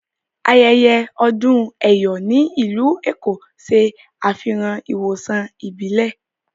Ayẹyẹ odún Eyò ni ilù Ékó ṣẹ afihàn ìwosàn ìbílẹ̀.